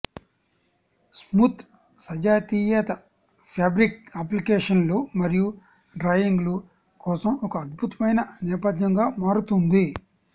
smooth సజాతీయత fabric అప్లికేషన్లు మరియు డ్రాయింగ్లు కోసం ఒక అద్భుతమైన నేపథ్యంగా మారుతుంది